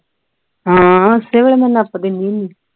ਹਾਂ ਉਸੇ ਵੇਲੇ ਮੈਂ ਨਪ ਦੇਣੀ ਹੁੰਦੀ ਹੈ